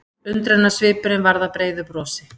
Undrunarsvipurinn varð að breiðu brosi.